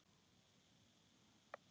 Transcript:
Trúði honum einum.